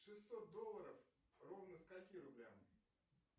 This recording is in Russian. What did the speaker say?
шестьсот долларов ровно скольки рублям